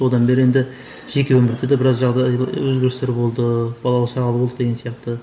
одан бері енді жеке өмірде де біраз өзгерістер болды балалы шағалы болдық деген сияқты